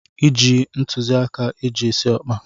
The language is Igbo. Iji ntụziaka eji esi ọkpa?